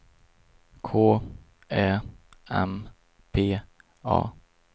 K Ä M P A